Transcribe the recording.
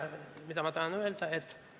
Mida ma tahan öelda?